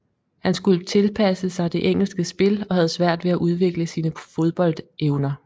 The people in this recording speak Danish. Han skulle tilpasse sig det engelske spil og havde svært ved at udvikle sine fodboldevner